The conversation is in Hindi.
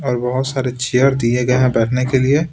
बहुत सारे चेयर दिये गये हैं बैठने के लिए--